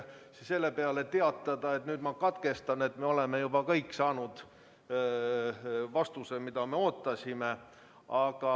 Selle peale võiksin ma teatada, et nüüd ma katkestan, kuna me oleme saanud vastuse, mida ootasime.